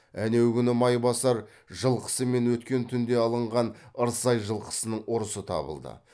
әнеугүнгі майбасар жылқысы мен өткен түнде алынған ырсай жылқысының ұрысы табылды